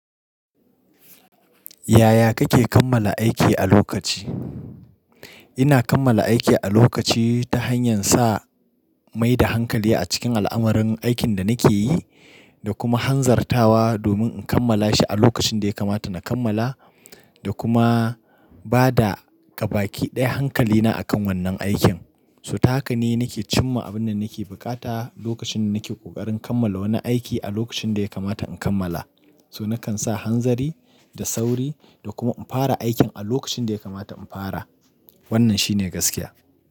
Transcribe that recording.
Yaya kake kammala aiki a lokaci? Ina kammala aiki a lokaci ta hanyar sa mai da hankali a cikin al'amuran aikin da nake yi da kuma hanzartawa domin in kammala shi a lokacin da ya kamata na kammala da kuma ba da gabaki ɗaya hankalina akan wannan aikin. So ta haka ne nake cimma abin da nake bukata lokacin da nake ƙoƙarin kammala wani aiki a lokacin da ya kamata in kammala. So nakan sa hanzari da sauri da kuma in fara aikin a lokacin da ya kamata in fara. Wannan shine gaskiya.